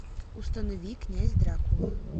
установи князь дракула